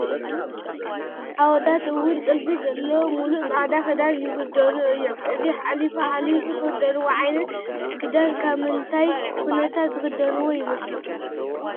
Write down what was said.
ኣወዳት እውን ጥልፊ ዘለዎ ሙሉእ ፃዕዳ ክዳን ይኽደኑ እዮም፡፡ እዚ ሓሊፉ ሓሊፉ ዝኽደንዎ ዓይነት ክዳን ኣብ ምንታይ ኩነታት ዝኽደንዋ ይመስለኩም?